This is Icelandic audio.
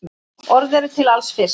Orð eru til alls fyrst.